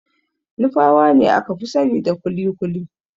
Nupawa ne aka fi sanida kuli-kuli.